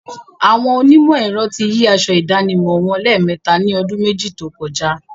Àwọn onímọ̀ ẹ̀rọ ti yí aṣọ ìdánimọ̀ wọn lẹ́mẹ̀ẹta ni ọdún méjì tókọjá.